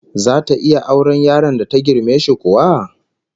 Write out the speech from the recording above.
Zata iya auren yaron da ta girme shi kuwa?